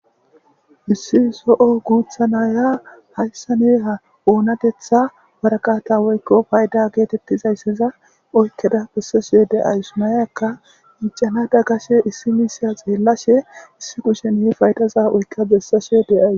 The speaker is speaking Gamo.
issi so7o guutha naaya haisane ha oonatetha warakata woykko payda geetettizaysseza oykkeda bessasuyo de7aysu mayakka icana da gashe issi miisya xeellashe issi kushen he faydaza oykka bessasuyo deays